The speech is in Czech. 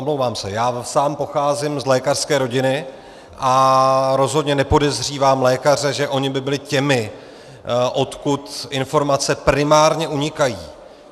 Omlouvám se, já sám pocházím z lékařské rodiny a rozhodně nepodezřívám lékaře, že oni by byli těmi, odkud informace primárně unikají.